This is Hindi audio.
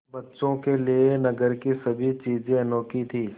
बच्चों के लिए नगर की सभी चीज़ें अनोखी थीं